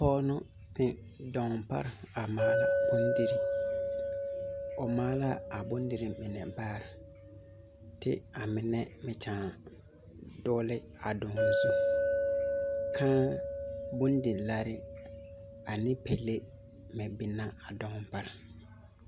Pɔge la ziŋ daŋaa pare a maala bondirii,o maali la a bondirii mine baa kyɛ ka a mine niŋ dogli a daŋaa zu, kaa bondilaare ane pelee meŋ biŋ la a daŋaa pare